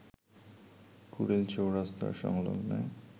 কুড়িল চেৌরাস্তা সংলগ্ন